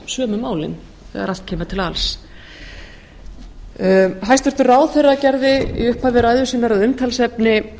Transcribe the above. sömu málin þegar allt kemur til alls hæstvirtur ráðherra gerði í upphafi ræðu sinnar að umtalsefni